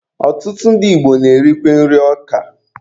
Ọtụtụ ndị Igbo na-erikwa nri ọka.